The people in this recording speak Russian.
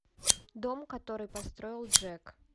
дом который построил джек